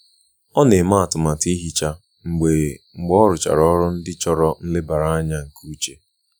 Ọ na-eme atụmatụ ihicha mgbe mgbe ọ rụchara ọrụ ndị chọrọ nlebara anya nke uche.